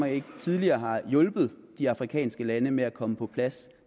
ikke tidligere har hjulpet de afrikanske lande med at komme på plads